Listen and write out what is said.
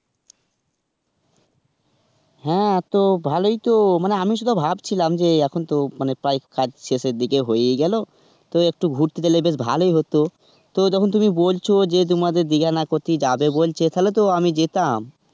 হ্যাঁ তো ভালোই তো, আমি শুধু ভাবছিলাম যে এখন তো প্রায় কাজ শেষের দিকে হয়েই গেল, তো একটু ঘুরতে গেলে বেশ ভালোই হত. তো যখন তুমি বলছো তোমাদের দিঘা না কোথায় যাবে বলছে তাহলে তো আমি যেতাম.